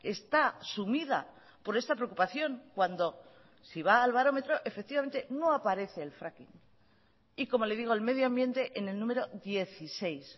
está sumida por esta preocupación cuando si va al barómetro efectivamente no aparece el fracking y como le digo el medio ambiente en el número dieciséis